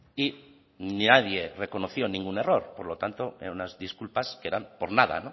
y nadie reconoció ningún error por lo tanto eran unas disculpas que eran por nada